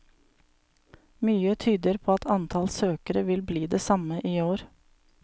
Mye tyder på at antall søkere vil bli det samme i år.